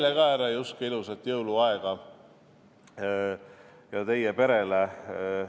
Ka teile, härra Juske ja teie perele ilusat jõuluaega!